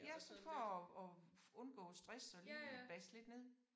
Ja sådan for at undgå stress og lige basse lidt ned